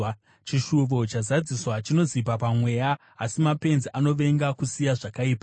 Chishuvo chazadziswa chinozipa pamweya, asi mapenzi anovenga kusiya zvakaipa.